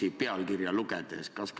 On see nii?